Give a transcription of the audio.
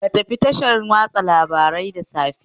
Ka tafi tashar watsa labarai da safe